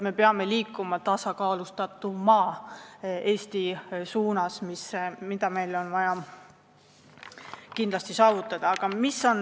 Me peame liikuma tasakaalustatuma Eesti suunas – see on meil kindlasti vaja saavutada.